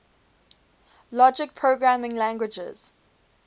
logic programming languages